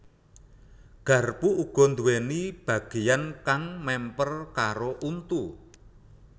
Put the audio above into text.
Garpu uga nduwèni bagéyan kang mèmper karo untu